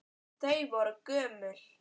Þau voru gömul.